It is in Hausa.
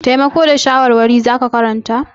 Taimako da shawarwari za ka karanta?